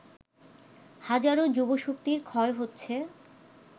হাজারো যুবশক্তির ক্ষয় হচ্ছে